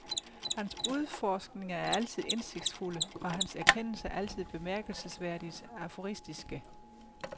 Hans udforskninger er altid indsigtsfulde, og hans erkendelser altid bemærkelsesværdigt aforistiske.